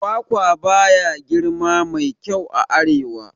Kwakwa baya girma mai kyau a arewa